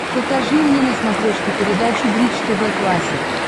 покажи мне на смотрешке передачу бридж тв классик